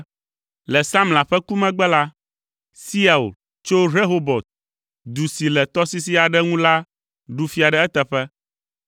Le Samla ƒe ku megbe la, Siaul tso Rehobot, du si le tɔsisi aɖe ŋu la ɖu fia ɖe eteƒe.